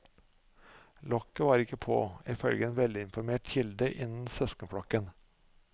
Lokket var ikke på, ifølge en velinformert kilde innen søskenflokken.